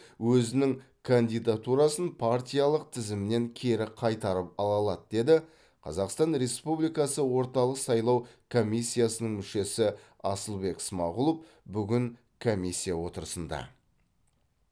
өзінің кандидатурасын партиялық тізімнен кері қайтарып ала алады деді қазақстан республикасы орталық сайлау комиссиясының мүшесі асылбек смағұлов бүгін комиссия отырысында